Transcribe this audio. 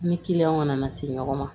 Ni kiliyanw kana na se ɲɔgɔn ma